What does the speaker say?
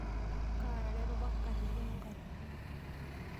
Kaarare papa nkatitin o nkatitin.